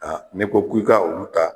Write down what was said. Aa n'i kok'i ka olu ta